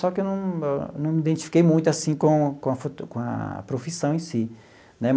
Só que eu não não me identifiquei muito assim com com a foto com a profissão em si né.